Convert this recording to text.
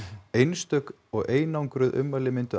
einstök og einangruð ummæli myndu